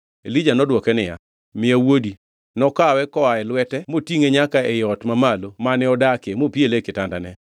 Elija nodwoke niya, “Miya wuodi.” Nokawe koa e lwete motingʼe nyaka ei ot mamalo mane odakie mopiele e kitandane.